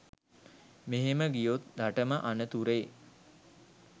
මෙහෙම ගියොත් රටම අනතුරේ